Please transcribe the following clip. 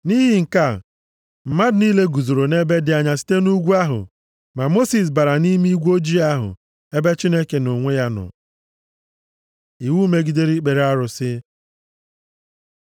Nʼihi nke a, mmadụ niile guzoro nʼebe dị anya site nʼugwu ahụ. Ma Mosis bara nʼime igwe ojii ahụ, ebe Chineke nʼonwe ya nọ. Iwu megidere ikpere arụsị